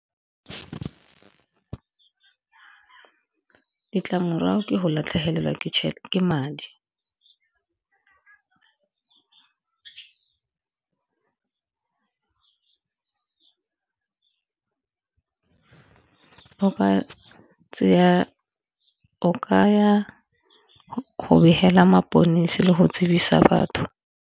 Ditlamorago ke go latlhegelwa ke madi, o kaya go begela mapodisi le go tsibisa batho.